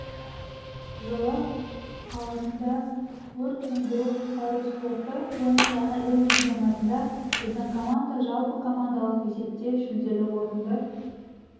жылы қаласында өрт сөндіру-құтқару спорты бойынша әлем чемпионатында біздің команда жалпы командалық есепте жүлделі орынды